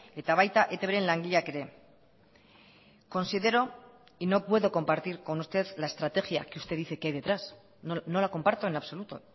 eta baita etbren langileak ere considero y no puedo compartir con usted la estrategia que usted dice que hay detrás no la comparto en absoluto